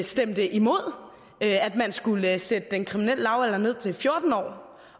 stemte imod at man skulle sætte den kriminelle lavalder ned til fjorten år